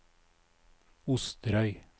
Osterøy